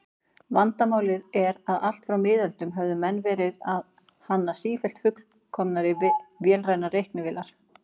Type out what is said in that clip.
Vandamálið er að allt frá miðöldum höfðu menn verið að hanna sífellt fullkomnari vélrænar reiknivélar.